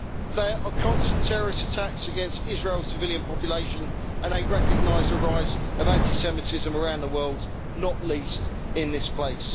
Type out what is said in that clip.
There are constant terrorist attacks against Israel's civilian population and a recognised rise of anti-Semitism around the world, not least in this place.